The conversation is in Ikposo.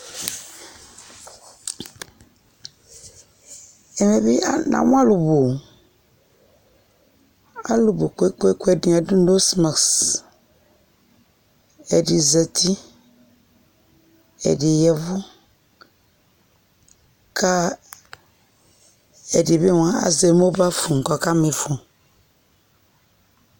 Ɛmɛ bi namʋ alʋ bʋ o, alʋ bʋ kpekpeekpe, ɛdini adʋ nosi masiki, ɛdi zati, ɛdi yavʋ kʋ ɛdi bi moa azɛ mobal fonʋ kɔ ɔka mi ifɔ